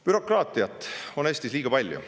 Bürokraatiat on Eestis liiga palju.